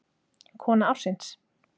Kona ársins?